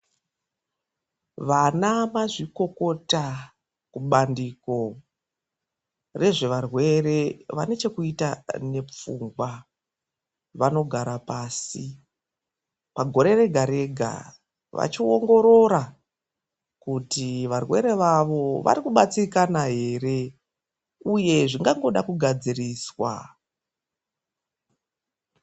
Vana mazvikokota kubandiko rezvevarwere vane chekuita nepfungwa vanogara pasi pagore rega rega, vachiongorora kuti varwere vavo varikubatsirikana here uye zvingangoda kugadziriswa.